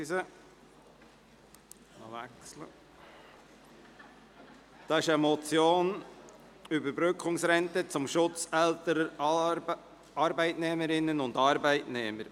Das ist die Motion «Überbrückungsrente zum Schutz älterer Arbeitnehmerinnen und Arbeitnehmer».